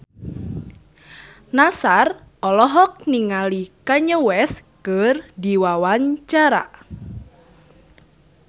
Nassar olohok ningali Kanye West keur diwawancara